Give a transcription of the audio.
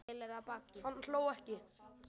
Hann hló ekki.